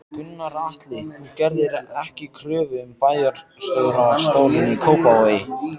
Gunnar Atli: Þú gerðir ekki kröfu um bæjarstjórastólinn í Kópavogi?